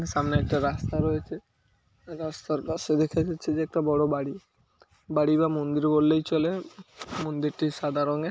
সামনে একটা রাস্তা রয়েছে রাস্তার পাশে দেখা যাচ্ছে যে একটা বড় বাড়ি। বাড়ি বা মন্দির বললেই চলে মন্দিরটি সাদা রঙের।